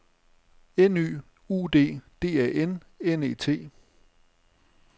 N Y U D D A N N E T